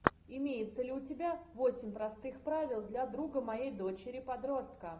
имеется ли у тебя восемь простых правил для друга моей дочери подростка